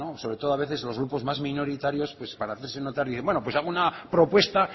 sobre todo a veces los grupos más minoritarios para hacerse notar bueno pues hago una propuesta